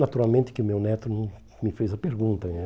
Naturalmente que o meu neto né me fez a pergunta né.